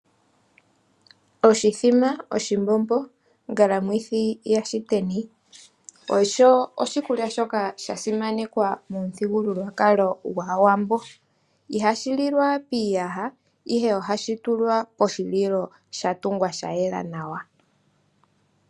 Oshithima, oshimbombo ongalamwithi yashiteni osho oshikulya shoka sha simanekwa momuthigululwakalo gwAawambo. Ihashi lilwa piiyaha, ihe ohashi tulwa poshililo sha tungwa sha yela nawa